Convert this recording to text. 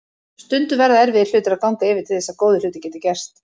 Stundum verða erfiðir hlutir að ganga yfir til þess að góðir hlutir geti gerst.